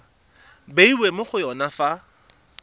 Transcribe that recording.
bewa mo go yone fa